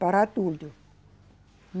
Para adulto.